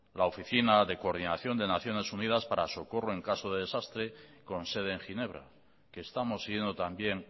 la oficina de coordinación de naciones unidas para socorro en caso de desastre con sede en ginebra que estamos siguiendo también